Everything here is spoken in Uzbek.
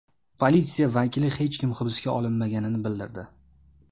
Politsiya vakili hech kim hibsga olinmaganini bildirdi.